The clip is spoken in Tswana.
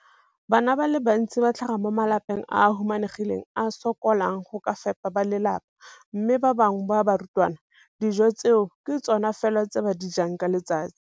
Bana ba le bantsi ba tlhaga mo malapeng a a humanegileng a a sokolang go ka fepa ba lelapa mme ba bangwe ba barutwana, dijo tseo ke tsona fela tse ba di jang ka letsatsi.